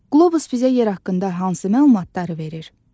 Qlobus bizə yer haqqında hansı məlumatları verir?